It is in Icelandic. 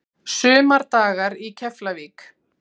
Sumardagar í Keflavík